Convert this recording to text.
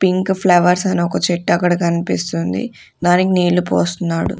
Pink flowers అని ఒక చెట్టు అక్కడ కనిపిస్తుంది దానికి నీళ్లు పోస్తున్నాడు.